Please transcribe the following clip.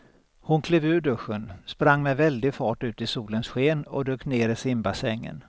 Hon klev ur duschen, sprang med väldig fart ut i solens sken och dök ner i simbassängen.